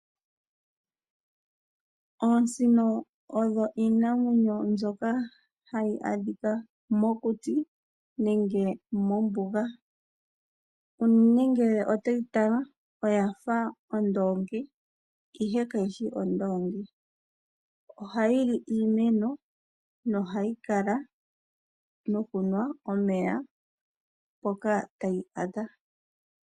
Oosino odho iinamwenyo mbyoka hayi adhika mokuti nenge mombuga. Ano nenge otoyi tala oyafa ondoongi ihe kayishi ondoongi. Ohayili iimeno nohayi kala nokunwa omeya mpoka tayi adha.